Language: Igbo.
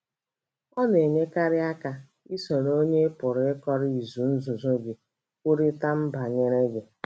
Ọ na - enyekarị aka isoro onye ị pụrụ ịkọrọ izu nzuzo gị kwurịta banyere ya.